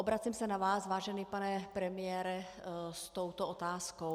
Obracím se na vás, vážený pane premiére, s touto otázkou.